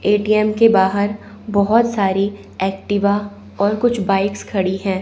ATM के बाहर बहुत सारी एक्टिवा और कुछ बाइक्स खड़ी है।